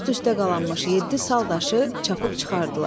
Üst-üstə qalanmış yeddi sal daşı çapıb çıxardılar.